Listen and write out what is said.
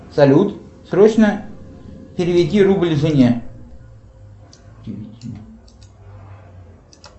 салют срочно переведи рубль жене